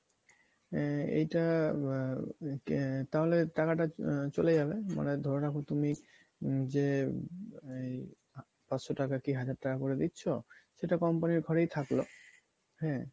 আহএইটা আহ তাহলে টাকাটা আহ চলে যাবে মানে ধরে রাখো তুমি হম যে এই পাঁচশ টাকা কী হাজার টাকা করে দিচ্ছ সেটা company র ঘরেই থাকলো , হ্যাঁ ?